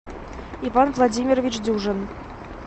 иван владимирович дюжин